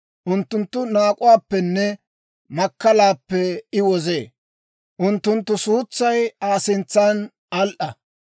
Unttuntta naak'uwaappenne makkalaappe I wozee. Unttunttu suutsay Aa sintsan al"a.